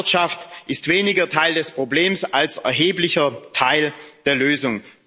Landwirtschaft ist weniger Teil des Problems als erheblicher Teil der Lösung.